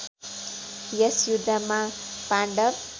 यस युद्धमा पाण्डव